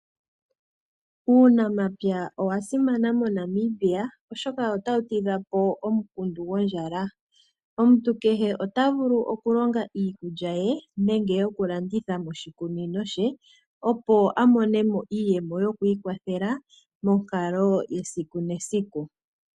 Uunamapya owa simana moNamibia, oshoka otawu tidha po omukundu wondjala. Omuntu kehe ota vulu okulonga iikulya ye, nenge yokulanditha moshikunino she, opo amone mo iiyemo yokwiikwathela monkalo yesiku nesiku.